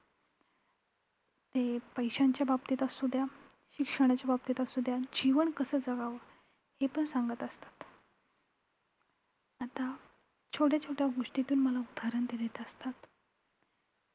ते पैशाच्या बाबतीत असू द्या, शिक्षणाच्या बाबतीत असू द्या, जीवन कसं जगावं हे पण सांगत असतात. आता छोट्या-छोट्या गोष्टींतून उदाहरण मला ते देत असतात.